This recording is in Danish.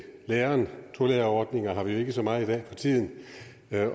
læreren tolærerordninger har vi jo ikke så mange af for tiden